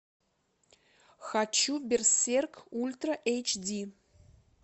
хочу берсерк ультра эйч ди